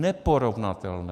Neporovnatelné!